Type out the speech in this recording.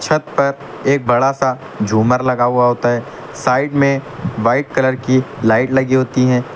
छत पर एक बड़ा सा झुमर लगा हुआ होता है साइड में व्हाइट कलर की लाइट लगी होती है।